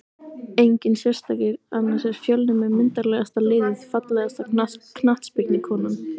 Enginn sérstakur annars er fjölnir með myndarlegasta liðið Fallegasta knattspyrnukonan?